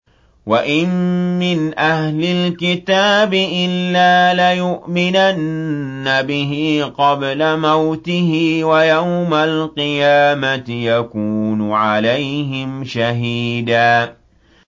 وَإِن مِّنْ أَهْلِ الْكِتَابِ إِلَّا لَيُؤْمِنَنَّ بِهِ قَبْلَ مَوْتِهِ ۖ وَيَوْمَ الْقِيَامَةِ يَكُونُ عَلَيْهِمْ شَهِيدًا